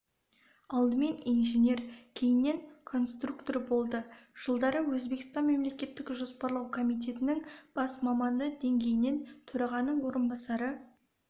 алдымен инженер кейіннен конструктор болды жылдары өзбекстан мемлекеттік жоспарлау комитетінің бас маманы деңгейінен төрағаның орынбасары